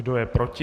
Kdo je proti?